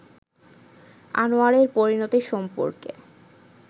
আনোয়ারের পরিণতি সম্পর্কে